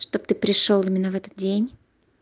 чтоб ты пришёл именно в этот день